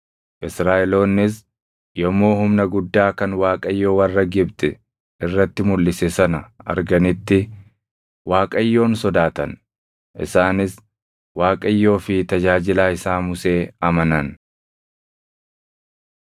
Israaʼeloonnis yommuu humna guddaa kan Waaqayyo warra Gibxi irratti mulʼise sana arganitti, Waaqayyoon sodaatan; isaanis Waaqayyoo fi tajaajilaa isaa Musee amanan.